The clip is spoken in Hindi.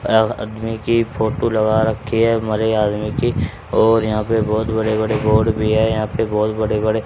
आदमी की फोटो लगा रखी है मरे आदमी की और यहां पे बहुत बड़े बड़े बोर्ड भी हैं यहां पे बहुत बड़े बड़े।